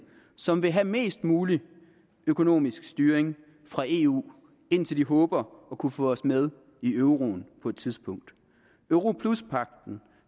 som vil have mest mulig økonomisk styring fra eu indtil de håber at kunne få os med i euroen på et tidspunkt europluspagten